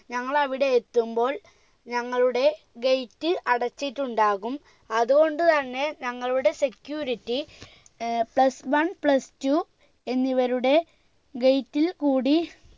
ഞങ്ങൾ അവിടെ എത്തുമ്പോൾ ഞങ്ങളുടെ gate അടച്ചിട്ടുണ്ടാകും അതുകൊണ്ട് തന്നെ ഞങ്ങളുടെ security ഏർ plus one plus two എന്നിവരുടെ gate ൽ കൂടി